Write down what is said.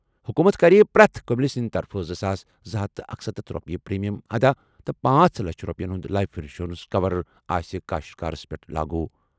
حکوٗمت کَرِ پرٛٮ۪تھ کٔمِلۍ سٕنٛدِ طرفہٕ زٕ ساس زٕ ہتھَ اکسَتتھ رۄپیہِ پریمیم ادا تہٕ پانژھ لچھ رۄپیَن ہُنٛد لایِف انشورنس کور آسہِ کٔاشتکارس پٮ۪ٹھ لاگوٗ۔